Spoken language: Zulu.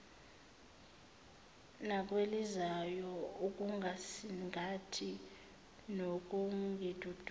nakwelizayo ukungisingatha nokungidudza